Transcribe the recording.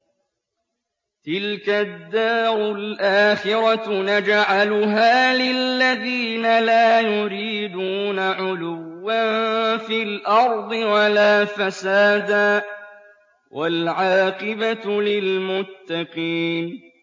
تِلْكَ الدَّارُ الْآخِرَةُ نَجْعَلُهَا لِلَّذِينَ لَا يُرِيدُونَ عُلُوًّا فِي الْأَرْضِ وَلَا فَسَادًا ۚ وَالْعَاقِبَةُ لِلْمُتَّقِينَ